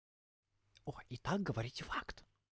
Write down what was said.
о и так говорить факт